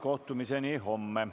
Kohtumiseni homme.